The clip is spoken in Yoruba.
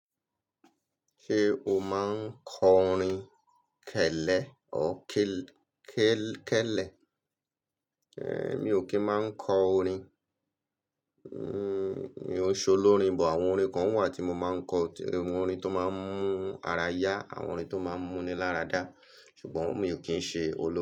Ṣé o máa ń kọ orin kẹ́lẹ́ or kẹ́lẹ́? Ẹ̀, Mi ò kí ń máa kọ orin. Nnn, Mi ò ṣọ lorin but. Àwọn orin kan wà tí mo máa ń kọ, àwọn orin tó máa ń mú ara yá, àwọn orin tó máa ń múni láradá. Ṣùgbọ́n mi ò kí ń ṣe olórin.